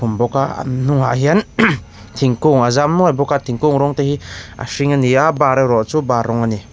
bawk a an hnungah hian thingkung a zam mual bawk a thingkung rawng te hi a hring ani a bar erawh chu bar rawng ani.